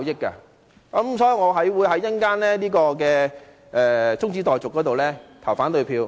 因此，我稍後會對中止待續議案投反對票。